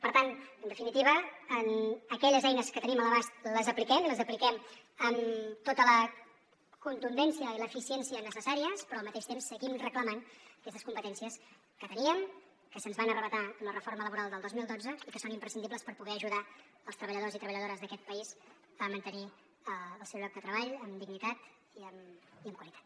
per tant en definitiva aquelles eines que tenim a l’abast les apliquem i les apliquem amb tota la contundència i l’eficiència necessàries però al mateix temps seguim reclamant aquestes competències que teníem que se’ns van arrabassar amb la reforma laboral del dos mil dotze i que són imprescindibles per poder ajudar els treballadors i treballadores d’aquest país a mantenir el seu lloc de treball amb dignitat i amb qualitat